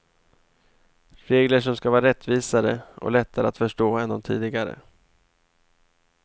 Regler som ska vara rättvisare och lättare att förstå än de tidigare.